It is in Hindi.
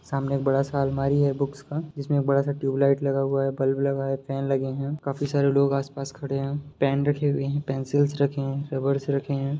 सामने एक बड़ा-सा अलमारी है बुक्स का जिसमे एक बड़ा-सा ट्यूबलाइट लगा हुआ है बल्ब लगा है फेन लगे है काफी सारे लोग आस-पास खड़े है पेन रखे हुए है पेन्सिल्स रखे है रबर्स रखे है।